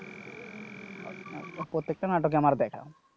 প্রত্যেকটা নাটকই আমার দেখা।